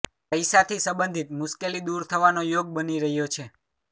પૈસાથી સંબંધિત મુશ્કેલી દૂર થવાનો યોગ બની રહ્યો છે